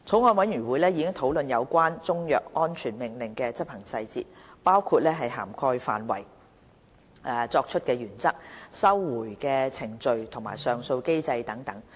法案委員會已討論有關中藥安全令的執行細節，包括涵蓋範圍、作出的原則、收回的程序及上訴機制等。